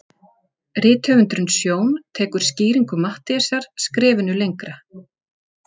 Rithöfundurinn Sjón tekur skýringu Matthíasar skrefinu lengra.